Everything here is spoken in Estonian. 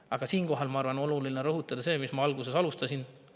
Aga siinkohal on, ma arvan, oluline rõhutada seda, millega ma alustasin.